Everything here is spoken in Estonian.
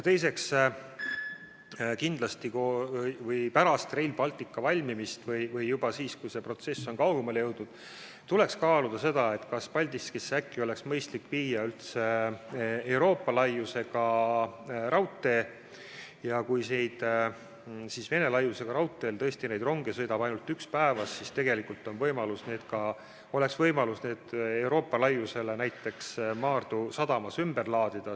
Teiseks, pärast Rail Balticu valmimist või juba siis, kui see protsess on kaugemale jõudnud, tuleks kaaluda, kas äkki oleks mõistlik teha Paldiskini üldse Euroopa laiusega raudtee ja kui Vene laiusega raudteel sõidab ainult üks rong päevas, siis oleks võimalus need kaubad Euroopa laiusega raudteele näiteks Maardu sadamas ümber laadida.